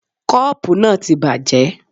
Koopu náà ti bàjẹ́.